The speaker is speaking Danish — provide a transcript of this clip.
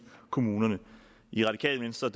kommunerne i radikale venstre